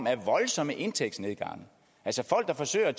af voldsomme indtægtsnedgange altså folk der forsøger